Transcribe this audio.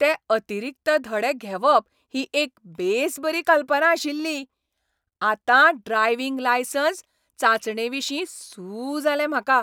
ते अतिरिक्त धडे घेवप ही एक बेसबरी कल्पना आशिल्ली ! आतां ड्रायव्हिंग लायसन्स चांचणेविशीं सू जालें म्हाका.